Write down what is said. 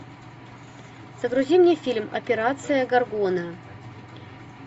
загрузи мне фильм операция горгона